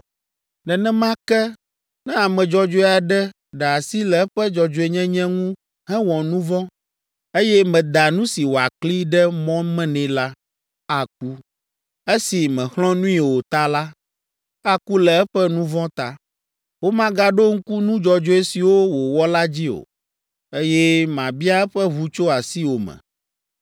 “Nenema ke, ne ame dzɔdzɔe aɖe ɖe asi le eƒe dzɔdzɔenyenye ŋu hewɔ nu vɔ̃, eye meda nu si wòakli ɖe mɔ me nɛ la, aku. Esi mèxlɔ̃ nui o ta la, aku le eƒe nu vɔ̃ ta. Womagaɖo ŋku nu dzɔdzɔe siwo wòwɔ la dzi o, eye mabia eƒe ʋu tso asiwò me.